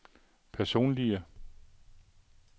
personlige